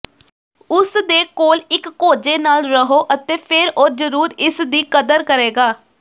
ਉਸ ਦੇ ਕੋਲ ਇਕ ਕੋਝੇ ਨਾਲ ਰਹੋ ਅਤੇ ਫਿਰ ਉਹ ਜ਼ਰੂਰ ਇਸ ਦੀ ਕਦਰ ਕਰੇਗਾ